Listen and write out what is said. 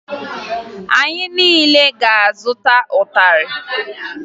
Anyị niile ga-azụta ịtarị